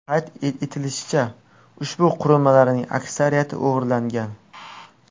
Qayd etilishicha, ushbu qurilmalarning aksariyati o‘g‘irlangan.